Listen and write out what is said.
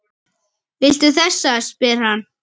Viltu þessa? spyr hann.